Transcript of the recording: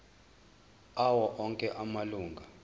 awo onke amalunga